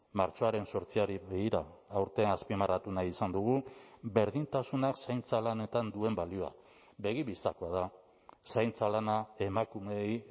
martxoaren zortziari begira aurten azpimarratu nahi izan dugu berdintasunak zaintza lanetan duen balioa begibistakoa da zaintza lana emakumeei